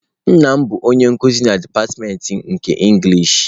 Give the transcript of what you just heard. Nna m bụ onye nkuzi na dipatịmentị nke inglishị.